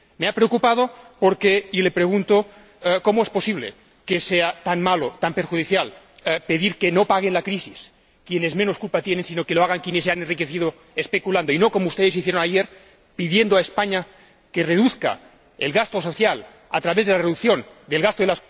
Me ha preocupado, y le pregunto cómo es posible que sea tan malo, tan perjudicial, pedir que no paguen la crisis quienes menos culpa tienen, sino que lo hagan quienes se han enriquecido especulando, y no como ustedes hicieron ayer, pidiendo a España que reduzca el gasto social a través de la reducción del gasto de